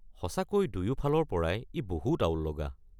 সঁচাকৈ দুয়োফালৰ পৰাই ই বহুত আউল লগা।